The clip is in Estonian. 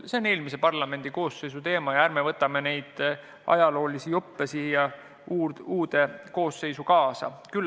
See on eelmise parlamendikoosseisu teema ja ärme võtame neid ajaloolisi juppe siia uude koosseisu kaasa.